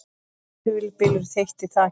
Hvirfilbylur þeytti þaki